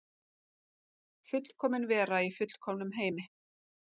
Fullkomin vera í fullkomnum heimi.